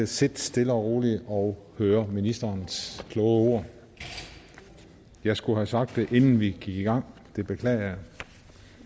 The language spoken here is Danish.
sidde stille og roligt og høre ministerens kloge ord jeg skulle have sagt det inden vi gik i gang jeg beklager